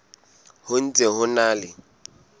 ho ntse ho na le